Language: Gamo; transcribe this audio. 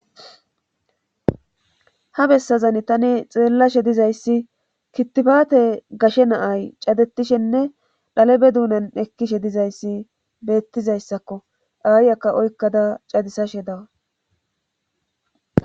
ha bessazan tani xeellashe dizayssi kittifaate gashe naay cadetishenne dhalebe duunan ekkishe dizayssi beettizayssakko dhaayyakka oykkada cadisashe dawa